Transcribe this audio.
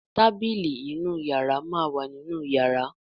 Tábìlì ìmúra inú yàrá má wá nínú yàrá.